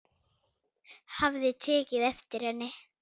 Hafði tekið eftir henni.